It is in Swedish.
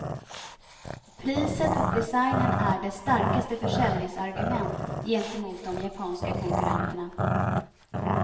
Priset och designen är dess starkaste försäljningsargument gentemot de japanska konkurrenterna.